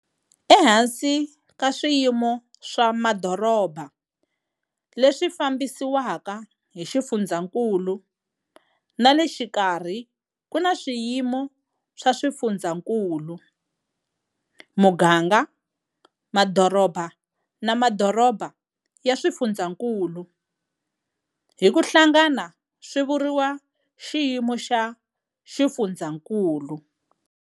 Ehansi ka swiyimo swa madoroba leswi fambisiwaka hi xifundzankulu na le xikarhi ku na swiyimo swa xifundzankulu, muganga, madoroba na madoroba ya xifundzankulu, hi ku hlangana swi vuriwa xiyimo xa xifundzankulu